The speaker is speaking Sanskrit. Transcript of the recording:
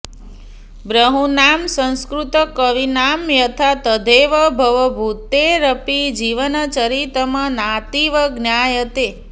बहूनां संस्कृतकवीनां यथा तथैव भवभूतेरपि जीवनचरितम् नातीव ज्ञायते